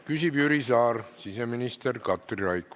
Küsib Jüri Saar, vastab siseminister Katri Raik.